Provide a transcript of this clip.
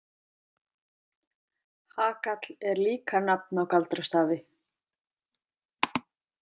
Hagall er líka nafn á galdrastafi.